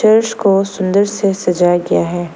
वृक्ष को सुंदर से सजाया गया है।